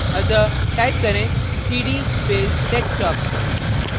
अतः type करें cd space desktop desktop